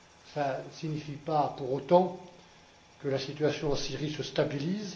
Cela ne signifie pas pour autant que la situation en Syrie se stabilise.